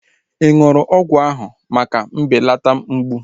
Ị ṅụrụ ọgwụ áhụ̀ na-ebelata mgbụ?